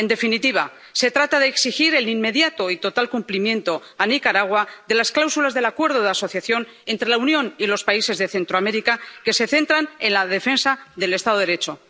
En definitiva, se trata de exigir el inmediato y total cumplimiento a Nicaragua de las cláusulas del Acuerdo de Asociación entre la Unión y los países de Centroamérica centradas en la defensa del Estado de Derecho.